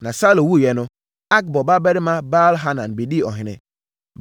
Na Saulo wuiɛ no, Akbor babarima Baal-Hanan bɛdii ɔhene.